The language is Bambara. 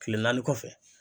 Kile naani kɔfɛ